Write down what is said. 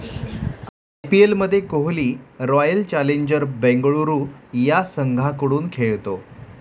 आयपीएलमध्ये Kohli Royal Challenger Bengaluru या संघाकडून खेळतो.